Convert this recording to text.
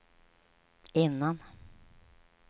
innan